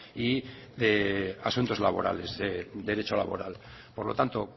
y de asuntos laborales de derecho laboral por lo tanto